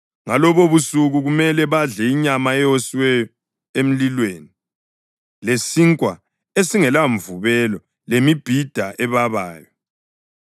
Ngalobobusuku kumele badle inyama eyoswe emlilweni, lesinkwa esingelamvubelo lemibhida ebabayo.